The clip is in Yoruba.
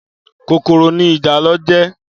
Kókóró ni ijálò jè